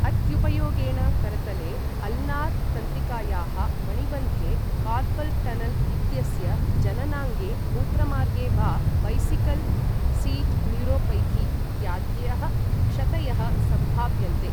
अत्युपयोगेण करतले अल्नार् तंत्रिकायाः, मणिबन्धे कार्पल् टनल् इत्यस्य, जननाङ्गे मूत्रमार्गे वा बैसिकल् सीट् न्यूरोपैथी इत्याद्यः क्षतयः सम्भाव्यन्ते।